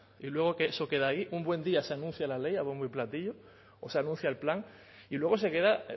y luego eso queda ahí un buen día se anuncia la ley a bombo y platillo o se anuncia el plan y luego se queda